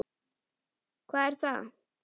Hvar er það?